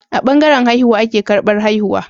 A bangaran haihuwa ake karbar haihuwa